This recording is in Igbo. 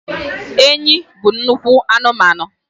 Enyi bụ nnukwu anụmanụ